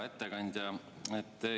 Hea ettekandja!